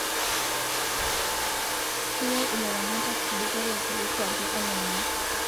Keyieu ilaramatak ibukore too kuapii olameyu